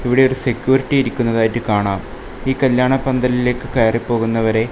ഇവിടെ ഒരു സെക്യൂരിറ്റി ഇരിക്കുന്നതായിട്ട് കാണാം ഈ കല്യാണ പന്തലിലേക്ക് കയറി പോകുന്നവരെ--